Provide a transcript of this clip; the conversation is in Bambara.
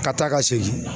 Ka taa ka segin